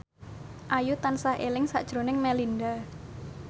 Ayu tansah eling sakjroning Melinda